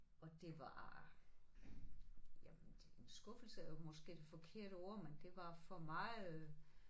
Og det var jamen en skuffelse er måske det forkerte ord men det var for meget